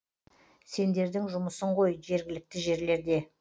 сендердің жұмысың ғой жергілікті жерлерде